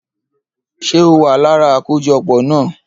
Ṣé o wa lára akojọpọ na?